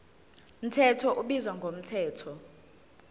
mthetho ubizwa ngomthetho